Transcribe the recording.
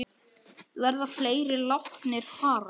Verða fleiri látnir fara?